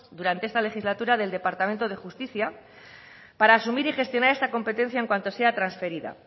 durante esta legislatura del departamento de justicia para asumir y gestionar esta competencia en cuanto sea transferida